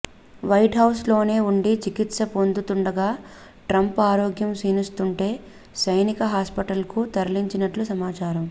white House లోనే వుండి చికిత్స పొందుతుండగా ట్రంప్ ఆరోగ్యం క్షీణిస్తుంటే సైనిక హాస్పిటల్ కు తలించినట్లు సమాచారం